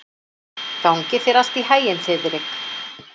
Gangi þér allt í haginn, Þiðrik.